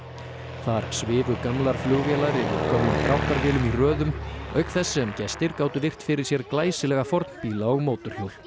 þar svifu gamlar flugvélar yfir gömlum dráttarvélum í röðum auk þess sem gestir gátu virt fyrir sér glæsilega fornbíla og mótorhjól